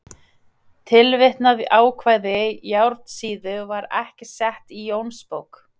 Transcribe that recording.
Tilvitnað ákvæði Járnsíðu var ekki sett í Jónsbók.